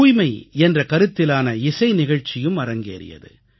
தூய்மை என்ற கருத்திலான இசை நிகழ்ச்சியும் அரங்கேறியது